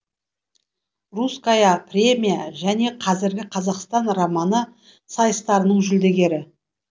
русская премия және қазіргі қазақстан романы сайыстарының жүлдегері